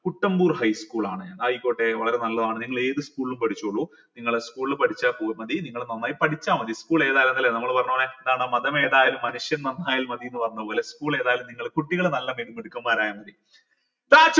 Kuttampur high school ആണ് ആയിക്കോട്ടെ വളരെ നല്ലതാണ് നിങ്ങൾ ഏത് school ൽ പഠിച്ചോളു നിങ്ങളെ school ൽ പഠിച്ച നിങ്ങൾ നന്നായി പഠിച്ച മതി school ഏതായാലെന്താ ല്ലെ നമ്മൾ പറഞ്ഞപോലെ മതം ഏതായാലും മനുഷ്യൻ നന്നായാൽ മതി ന്ന് പറഞ്ഞപോലെ school ഏതായാലും നിങ്ങൾ കുട്ടികൾ നല്ല മിടുക്കന്മാരായ മതി